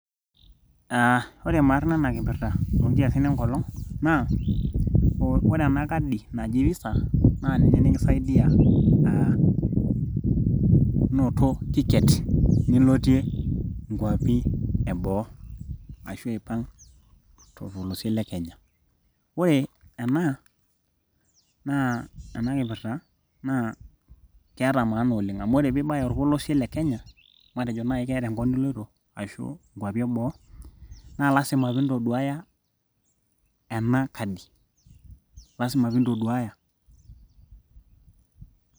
Aah ore maana ena kipirta toonkiasin enkolong naa ore ena kadi naji visa naa ninche nikisaidia aa inoto ticket nilotie inkuapi eboo ashuu aipang torpolosie lekenya ore ena naa enakipirta naa keeta maana amu ore peeibaya orpolosie le kenya matejo naaji keeta enkop niloito ashuu inkuapi eboo naa lazima piintoduaya ena kadi lazima peeintoduaaya .